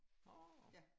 Nå